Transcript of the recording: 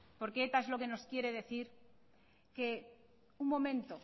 porque eta es lo que nos quiere decir que un momento